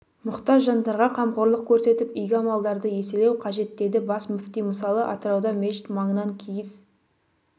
мұқтаж жандарға қамқорлық көрсетіп игі амалдарды еселеу қажет деді бас мүфти мысалы атырауда мешіт маңынан киіз